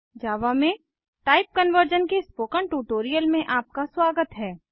जावा में type conversion के spoken tutorial में आपका स्वागत है